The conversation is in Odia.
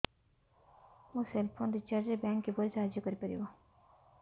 ମୋ ସେଲ୍ ଫୋନ୍ ରିଚାର୍ଜ ରେ ବ୍ୟାଙ୍କ୍ କିପରି ସାହାଯ୍ୟ କରିପାରିବ